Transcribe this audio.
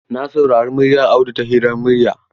Na saurari muryar Audu ta hirar murya.